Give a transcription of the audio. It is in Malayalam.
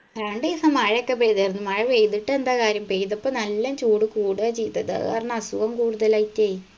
രണ്ടീസം മഴക്കെ പെയ്താർന്നു മഴ പെയ്തിട്ടെന്താ കാര്യം പെയ്തപ്പൊ നല്ല ചൂട് കൂടുഅ ചെയ്തത് അത് കാരണം അസുഖം കൂടുതലായിറ്റ്